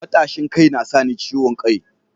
Matashin kai na sa ni ciwon kai